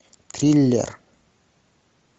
триллер